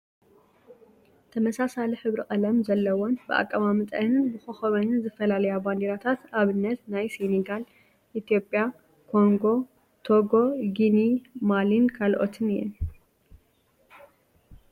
ተመሳሳሊ ሕብሪ ቀለም ዘለወን ብ ኣቀማምጠአንን ብኮኮበን ዝፈላለያ ባንዲራታት ኣብነት ናይ ሴነጋል፣ ፣ ኢትዮጽያ፣ ኮንጎ፣ ቶጎ፣ ጊኒ፣ ማሊ ካልኦትን እየን ።